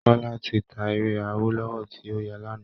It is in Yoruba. Kọ́lá ti ta ere awólọ́wọ̀ tí óyà lánàá